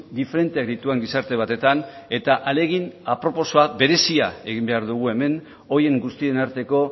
diferenteak dituen gizarte batetan eta ahalegin aproposa berezia egin behar dugu hemen horien guztien arteko